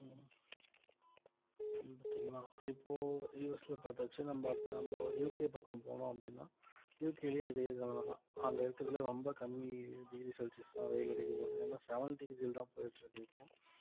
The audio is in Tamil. இப்போ US ல பார்த்தாச்சு நம்ம அடுத்து நம்ம UK பக்கம் போனோம் அப்படின்னா UK லயும் இதே நிலைமைதான் அங்க இருக்கிறதுலேயே ரொம்ப கம்மி degree celsius தான் வெயில் அடிக்கப்போகுது ஏன்னா seven degree லதான் போயிட்டு இருக்கு இப்போ